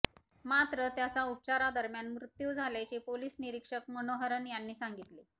मात्र त्याचा उपचारा दरम्यान मृत्यू झाल्याचे पोलीस निरीक्षक मनोहरन यांनी सांगितले